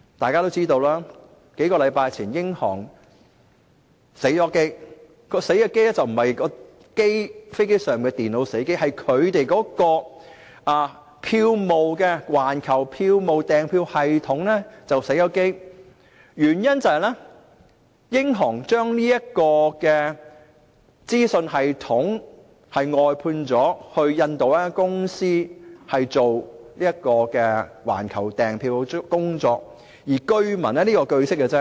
大家也知道，在數個星期前，英航出現了故障，當時並非飛機上的電腦故障，而是它的環球票務訂票系統故障，原因是英航把環球票務訂票系統外判給印度一間公司負責。